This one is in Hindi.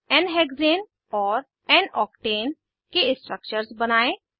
n हेक्साने और n आक्टेन के स्ट्रक्चर्स बनायें 2